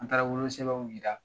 An taara wolo sɛbɛnw yira